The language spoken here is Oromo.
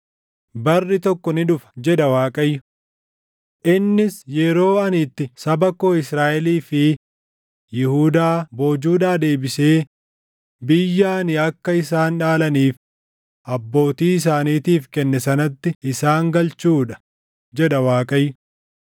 Barri tokko ni dhufa’ jedha Waaqayyo; ‘Innis yeroo ani itti saba koo Israaʼelii fi Yihuudaa boojuudhaa deebisee biyya ani akka isaan dhaalaniif abbootii isaaniitiif kenne sanatti isaan galchuu dha,’ jedha Waaqayyo.”